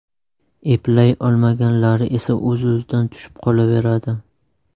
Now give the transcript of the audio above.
Eplay olmaganlari esa o‘z-o‘zidan tushib qolaveradi.